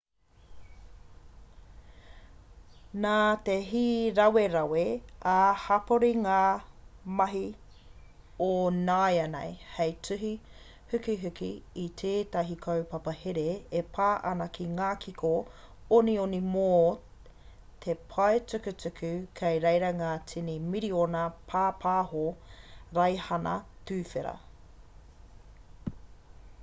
nā te hīrawerawe ā-hapori ngā mahi o nāianei hei tuhi hukihuki i tētahi kaupapa here e pā ana ki ngā kiko onioni mō te pae tukutuku kei reira ngā tini miriona pāpaho raihana-tuwhera